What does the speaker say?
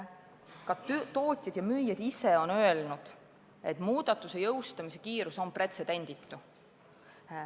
Ka tootjad ja müüjad on öelnud, et muudatuse jõustamise kiirus on pretsedenditu.